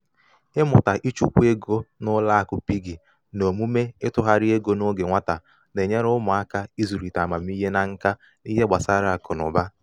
ụgbọ ahịa ahụ nwere nkwụsị obere oge n'ihi nsogbu mmezi sava.